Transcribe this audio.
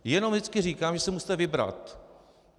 Jenom vždycky říkám, že si musíte vybrat.